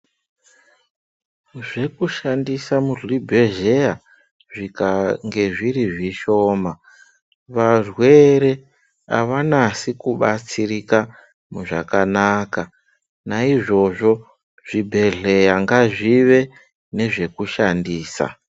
Zvekushandisa muzvibhedhleya zvikange zviri zvishoma, varwere havanasi kubatsirika zvakanaka. Naizvozvo zvibhedhleya ngazvive nezvekushandisa.